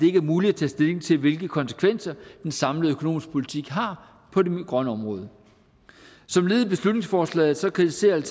ikke er muligt at tage stilling til hvilke konsekvenser en samlet økonomisk politik har på det grønne område som led i beslutningsforslaget kritiserer